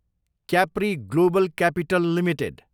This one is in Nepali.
Capri global capital Ltd